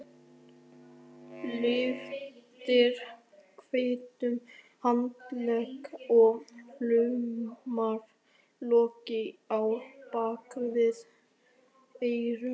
Lyftir hvítum handlegg og laumar lokki á bak við eyra.